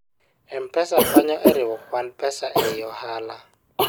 m-pesa konyo e riwo kwand pesa ei ohala